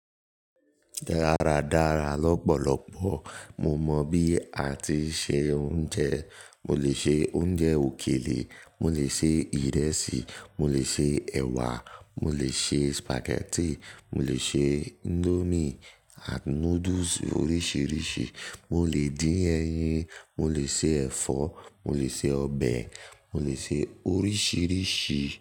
Dáradára lọ́pọ̀lọpọ̀. Mo mọ bí a ti ń se oúnjẹ. Mo lè se oúnjẹ òkèlè, mo lè se ìrẹsì, mo lè se ẹ̀wà, mo lè se spaghetti, mo lè se indomie and noodles oríṣìíríṣìí, mo lè dín ẹyin, mo lè se ẹ̀fọ́, mo lè se ọbẹ̀, mo lè se oríṣìíríṣìí.